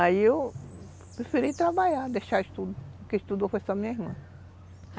Aí eu preferi trabalhar, deixar o estudo, quem estudou foi só a minha irmã.